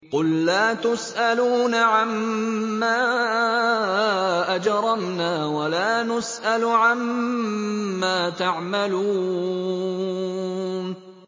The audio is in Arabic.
قُل لَّا تُسْأَلُونَ عَمَّا أَجْرَمْنَا وَلَا نُسْأَلُ عَمَّا تَعْمَلُونَ